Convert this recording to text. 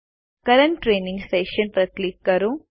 current training session પર click કરો